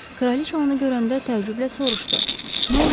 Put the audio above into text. Kraliça onu görəndə təəccüblə soruşdu: